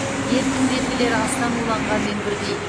дерттің белгілері астан уланғанмен бірдей